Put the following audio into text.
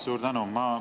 Suur tänu!